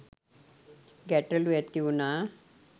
ගැටලු ඇතිවුණා